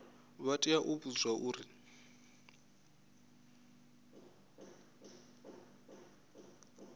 vha tea u vhudzwa uri